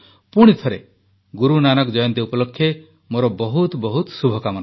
ପୁଣିଥରେ ଗୁରୁ ନାନକ ଜୟନ୍ତୀ ଉପଲକ୍ଷେ ମୋର ବହୁତ ବହୁତ ଶୁଭକାମନା